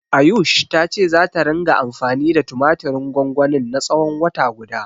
Ayush ta ce zata ringa anfani da tumatirin gwangwanin na tsawon wata guda.